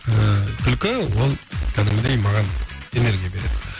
ыыы күлкі ол кәдімгідей маған энергия береді